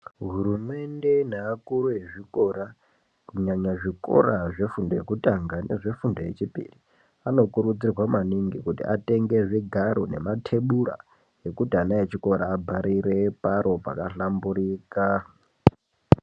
Hurumende neakuru vezvikora kunyanya zvikora zvefundo yekutanga nefundo yechipiri. Anokurudzirwa maningi kuti atenge zvigaro nematebura ekuti vana vechikora abharire paro pakahlamburika.